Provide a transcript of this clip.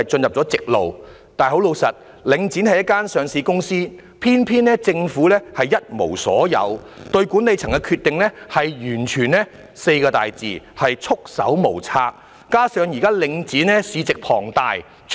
可是，坦白說，領展是一間上市公司，偏偏政府一無所有，對管理層的決定完全可用"束手無策"這4個字來形容。